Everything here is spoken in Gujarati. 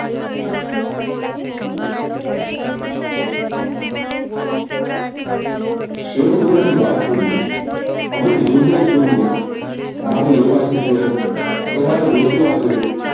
શેર બજાર ની વાત કરી હતી હવે લે વેચ કરવું છે મારે લેવાતું શેર તમારે વેચવા છે